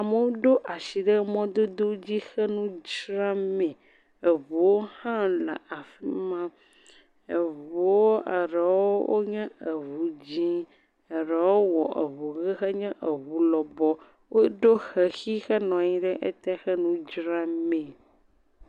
Amewo ɖo asi ɖe mɔdodo dzi he nu dzra mee, eŋuwo hã le afi ma, eŋuwo eɖewo nye eŋu dzee, eɖewo wɔ eŋu enye eŋu lɔbɔ, woɖo xexi henɔ anyi ɖe te he nu dzra mee.